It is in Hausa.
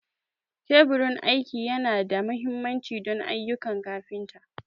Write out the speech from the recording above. Teburin aiki yana da mahimmanci don ayyukan kafinta.